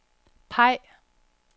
peg